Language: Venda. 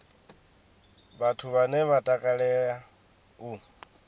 vhathu vhane vha takalea u